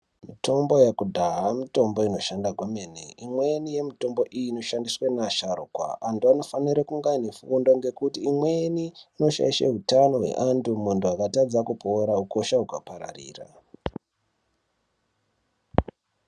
Mitombo yekudhaya mitombo inoshanda kwemene. Imweni yemitombo iyi inoshandiswe ngeasharukwa. Antu anofanire kunge ane fundo ngekuti imweni inoshaishe utano hweantu muntu akatadza kupora ukosha hukapararira.